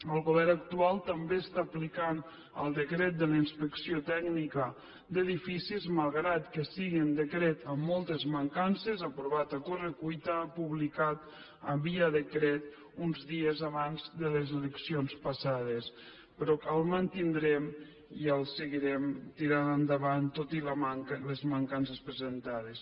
el govern actual també està aplicant el decret de la inspecció tècnica d’edificis malgrat que sigui un decret amb moltes mancances aprovat a corre cuita publicat via decret uns dies abans de les eleccions passades però el mantindrem i el seguirem tirant endavant tot i les mancances presentades